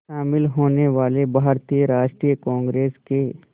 शामिल होने वाले भारतीय राष्ट्रीय कांग्रेस के